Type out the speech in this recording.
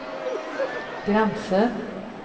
gränser